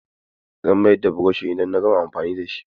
Zan mayar da burushin idan na gama amfani da shi.